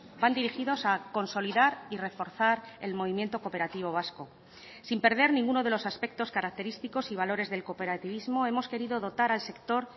van dirigidos a consolidar y reforzar el movimiento cooperativo vasco sin perder ninguno de los aspectos característicos y valores del cooperativismo hemos querido dotar al sector